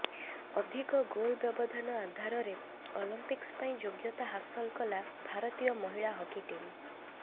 ଅଧିକ ଗୋଲ ବ୍ୟବଧାନ ଆଧାରରେ ଅଲମ୍ପିକ୍ସ ପାଇଁ ଯୋଗ୍ୟତା ହାସଲ କଲା ଭାରତୀୟ ମହିଳା ହକି ଟିମ୍